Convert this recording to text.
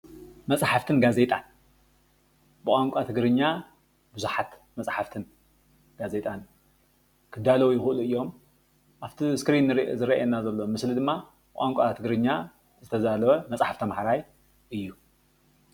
መፅሓፍትን ጋዜጣን ብቛንቛ ትግርኛ ቡዙሓት መፅሓፍትን ጋዜጣን ክዳለዉ ይኽእሉ እዮም፡፡ ኣብቲ እስክሪን ዝርኣየና ዘሎ ምስሊ ድማ ብቛንቛ ትግርኛ ዝተዳለወ መፅሓፍ ተምሃራይ እዩ፡፡